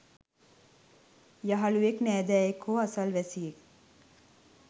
යහළුවෙක්, නෑදෑයෙක් හෝ අසල්වැසියෙක්